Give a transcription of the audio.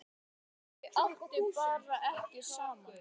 Þau áttu bara ekki saman.